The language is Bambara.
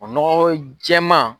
O nɔgɔ ko jɛman